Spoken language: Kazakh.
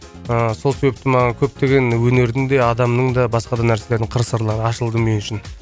ыыы сол себепте маған көптеген өнердің де адамның да басқа да нәрселердің қыр сырлары ашылды мен үшін